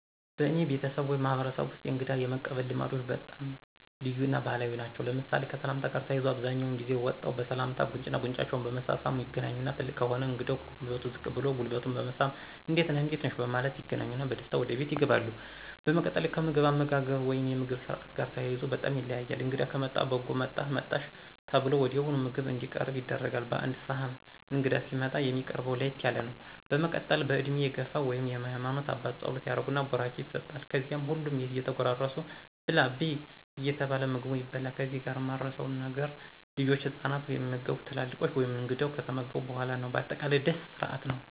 በአኔ ቤተስብ ወይም ማህበረሰብ ወስጥ የእንግዳ የመቀበል ልማዶች በጣም ልዩ እና ባህላዊ ናቸው ለምሳሌ፦ ከሰላምታ ጋር ተያይዞ አብዛኛውን ጊዜ ወጠው በሰላምታ ጉንጩና ጉንጫቸውን በመሳሳም ይገናኛሉ ትልቅ ከሆነ እንግዳው ከጉልበቱ ዝቅ ብሎ ጉልበቱን በመሳም እንዴት ነህ/ነሽ በማለት ይገናኙና በደስታ ወደ ቤት ይገባሉ። በመቀጥል ከምግብ አመጋገብ ወይም የምግብ ስርአት ጋር ተያይዞ በጣም ይለያል እንግዳ ከመጣ በጎ መጣህ/መጣሽ ተብሎ ወዲያውኑ ምግብ እንዲቀርብ ይደረጋል በአንድ ስህን እንግዳ ሲመጣ የሚቀርብው ለየት ያለ ነው በመቀጠል በእድሜ የግፍ ወይም የሃማኖት አባት ፀሎት ያደረግን ቡራኬ ይሰጥል ከዚያም ሁሉም እየተጎራረሱ ብላ/ብይ እየተባለ ምግቡ ይበላል ከዚህ ጋር ማረሳው ነገር ልጆችና ህፃናት የሚመገቡት ትላልቆች / እንግዳው ከተመገቡ በኋላ ነው በአጠቃላይ ደስ ስርአት ነው።